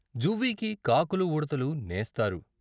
జువ్వికి కాకులూ, ఉడతలూ నేస్తారు.